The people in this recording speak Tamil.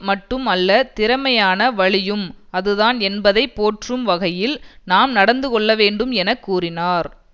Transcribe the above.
மட்டும் அல்ல திறமையான வழியும் அதுதான் என்பதை போற்றும் வகையில் நாம் நடந்து கொள்ளவேண்டும் என கூறினார்